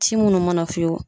Ci munnu mana f'i ye